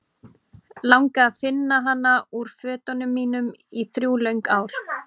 Langaði að finna hana úr fötunum mínum í þrjú löng ár.